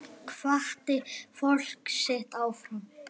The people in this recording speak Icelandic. Hvatti fólkið sitt áfram.